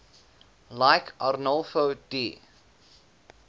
like arnolfo di